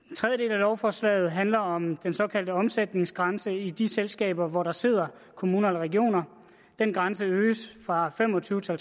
lovforslaget handler om den såkaldte omsætningsgrænse i de selskaber hvor der sidder kommuner eller regioner den grænse øges fra fem og tyve til